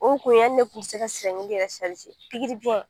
O kun ye hali ne kun tɛ se ka yɛrɛ pikiribiɲɛn.